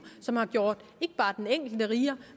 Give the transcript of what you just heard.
som har gjort ikke bare den enkelte rigere